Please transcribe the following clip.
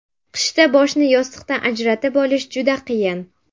Qishda boshni yostiqdan ajratib olish juda qiyin.